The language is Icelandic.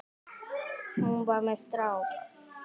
Hún var með strák!